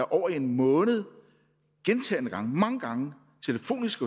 over en måned gentagne gange mange gange telefonisk